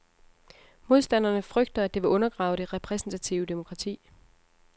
Modstanderne frygter, at det vil undergrave det repræsentative demokrati.